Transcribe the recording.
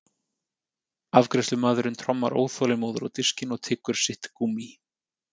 Afgreiðslumaðurinn trommar óþolinmóður á diskinn og tyggur sitt gúmmí.